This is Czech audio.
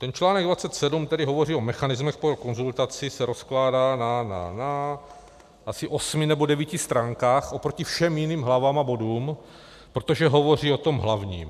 Ten článek 27, který hovoří o mechanismech pro konzultaci, se rozkládá na asi osmi nebo devíti stránkách oproti všem jiným hlavám a bodům, protože hovoří o tom hlavním.